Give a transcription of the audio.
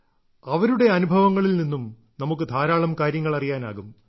അവരുടെ അനുഭവങ്ങളിൽ നിന്നും നമുക്ക് ധാരാളം കാര്യങ്ങൾ അറിയാനാകും